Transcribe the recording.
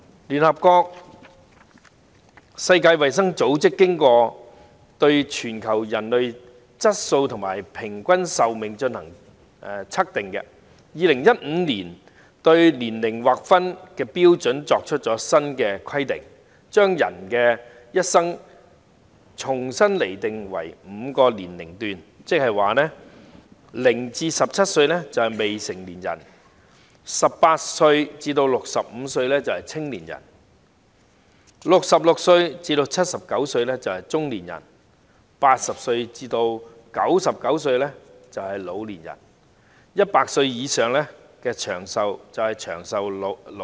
聯合國世界衞生組織經過對全球人體質素和平均壽命進行測定，在2015年對年齡劃分標準作出新的規定，將人的一生重新釐定為5個年齡段，即是0歲至17歲為未成年人 ，18 歲至65歲為青年人 ，66 歲至79歲為中年人 ，80 歲至99歲為老年人 ，100 歲以上為長壽老人。